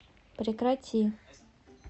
прекрати